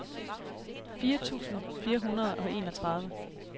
fire tusind fire hundrede og enogtredive